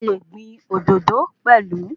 A le gbìn òdòdó pelu